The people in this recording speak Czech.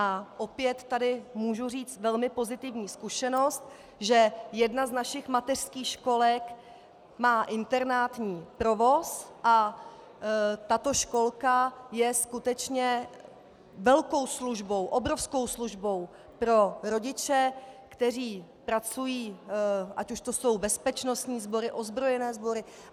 A opět tady můžu říci velmi pozitivní zkušenost, že jedna z našich mateřských školek má internátní provoz a tato školka je skutečně velkou službou, obrovskou službou pro rodiče, kteří pracují, ať už to jsou bezpečnostní sbory, ozbrojené sbory.